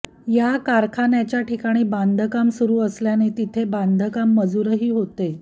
या कारखान्याच्या ठिकाणी बांधकाम सुरू असल्याने तिथे बांधकाम मजूरही होते